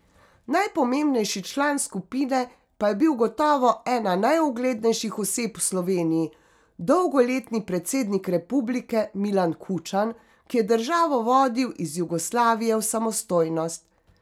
Najpomembnejši član skupine pa je bil gotovo ena najuglednejših oseb v Sloveniji, dolgoletni predsednik republike Milan Kučan, ki je državo vodil iz Jugoslavije v samostojnost.